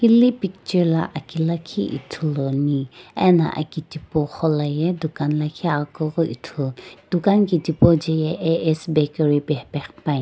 hili picture lakhi ithuluni ena aki tipauqo la ye dukan la aghukughi ithulu dukan tipau je ye A_S bakery pe hephe qhipani.